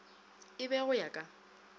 e be go ya ka